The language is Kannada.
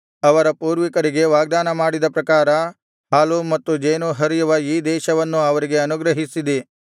ಅವರ ಪೂರ್ವಿಕರಿಗೆ ವಾಗ್ದಾನಮಾಡಿದ ಪ್ರಕಾರ ಹಾಲೂ ಮತ್ತು ಜೇನೂ ಹರಿಯುವ ಈ ದೇಶವನ್ನು ಅವರಿಗೆ ಅನುಗ್ರಹಿಸಿದಿ